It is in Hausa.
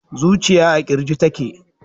zujiya a kirji take